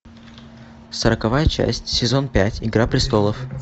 сороковая часть сезон пять игра престолов